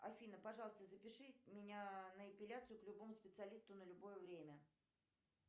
афина пожалуйста запиши меня на эпиляцию к любому специалисту на любое время